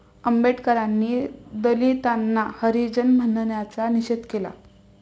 आंबेडकरांनी दलितांना हरिजन म्हणण्याचा निषेध केला